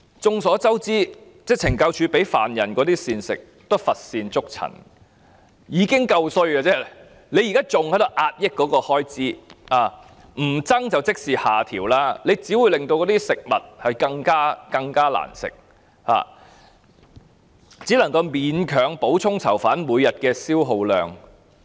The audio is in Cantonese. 眾所周知，懲教署向犯人提供的膳食一向乏善可陳，已經是很差劣的，現在還要壓抑膳食開支，不增加便等於下調，這樣只會令食物更加難吃，只能夠勉強補充囚犯每天的消耗量。